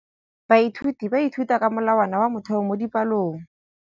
Baithuti ba ithuta ka molawana wa motheo mo dipalong.